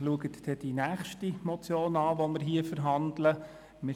Schauen Sie sich die nächste Motion an, die wir hier verhandeln werden: